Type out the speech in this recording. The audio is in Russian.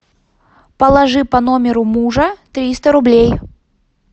положи по номеру мужа триста рублей